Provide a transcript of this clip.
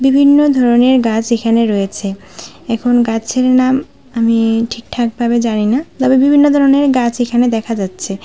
বিভিন্ন ধরনের গাছ এখানে রয়েছে এখন গাছের নাম আমি ঠিকঠাক ভাবে জানি না তবে বিভিন্ন ধরনের গাছ এখানে দেখা যাচ্ছে।